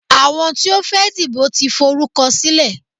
Àwọn tí ó fẹ́ dìbò tí forúkọ sílẹ̀.